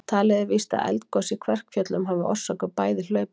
Talið er víst að eldgos í Kverkfjöllum hafi orsakað bæði hlaupin.